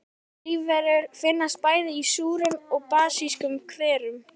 Lífverur finnast bæði í súrum og basískum hverum.